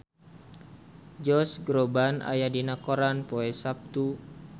Josh Groban aya dina koran poe Saptu